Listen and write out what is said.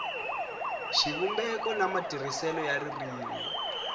xivumbeko na matirhiselo ya ririmi